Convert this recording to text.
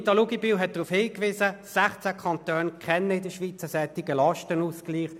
Grossrätin Luginbühl hat darauf hingewiesen: 16 Kantone kennen einen solchen Lastenausgleich.